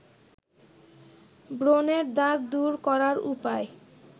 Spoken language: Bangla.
ব্রনের দাগ দূর করার উপায়